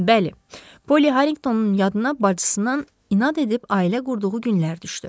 Bəli, Polli Harriqtonun yadına bacısının inad edib ailə qurduğu günlər düşdü.